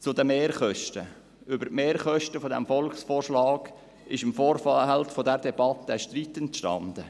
Zu den Mehrkosten: Über die Mehrkosten dieses Volksvorschlags ist im Vorfeld dieser Debatte ein Streit entstanden.